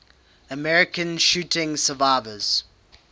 american shooting survivors